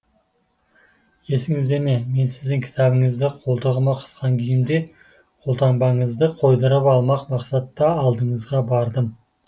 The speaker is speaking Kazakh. есіңізде ме мен сіздің кітабыңызды қолтығыма қысқан күйімде қолтаңбаңызды қойдырып алмақ мақсатта алдыңызға бардым